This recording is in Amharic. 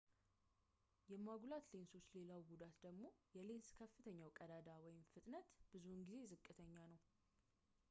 የማጉላት ሌንሶች ሌላው ጉዳት ደግሞ የሌንስ ከፍተኛው ቀዳዳ ፍጥነት ብዙውን ጊዜ ዝቅተኛ ነው